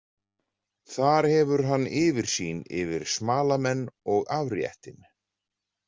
Þar hefur hann yfirsýn yfir smalamenn og afréttinn.